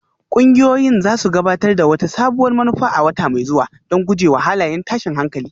Ƙungiyoyin za su gabatar da wata sabuwar manufa a wata mai zuwa don guje wa halayen tashin hankali